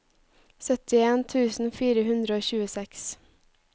syttien tusen fire hundre og tjueseks